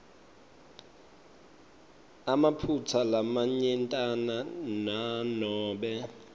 emaphutsa lamanyentana nanobe